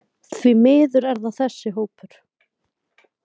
Því miður er það þessi hópur.